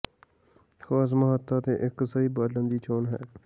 ਖਾਸ ਮਹੱਤਤਾ ਦੇ ਇੱਕ ਸਹੀ ਬਾਲਣ ਦੀ ਚੋਣ ਹੈ